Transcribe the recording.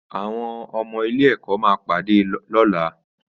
Àwọn ọmọ ilé ẹkọ ya pade lọla